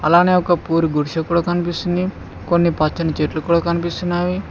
అలానే ఒక పూరి గుడిసె కూడా కనిపిస్తుంది కొన్ని పచ్చని చెట్లు కూడా కనిపిస్తున్నావి.